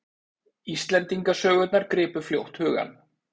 Íslendingasögurnar gripu fljótt hugann.